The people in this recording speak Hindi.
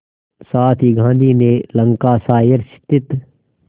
साथ ही गांधी ने लंकाशायर स्थित